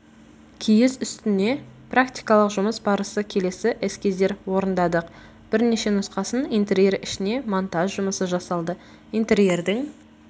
киіз үстіне практикалық жұмыс барысы келесі эскиздер орындадық бірнеше нұсқасын интерьер ішіне монтаж жұмысы жасалды интерьердің